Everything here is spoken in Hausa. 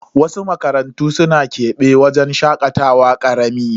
Wasu makarantu suna kebe wajen shakatawa karami.